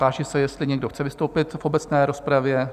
Táži se, jestli někdo chce vystoupit v obecné rozpravě?